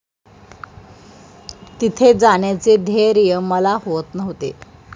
तिथे जाण्याचे धैर्य मला होत नव्हते.